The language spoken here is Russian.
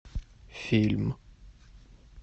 фильм